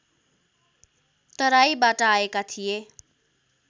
तराईबाट आएका थिए